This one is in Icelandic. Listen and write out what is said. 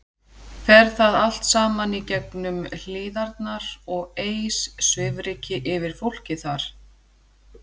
Fer það allt saman í gegnum Hlíðarnar og eys svifryki yfir fólkið þar?